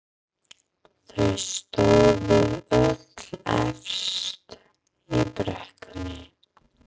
Þau stóðu öll efst í brekkunni.